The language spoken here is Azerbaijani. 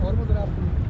Ormuzdan gedirik.